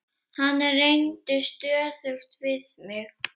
Hann reyndi stöðugt við mig.